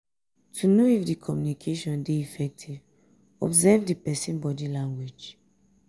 to know if di communication di effective observe di persin body language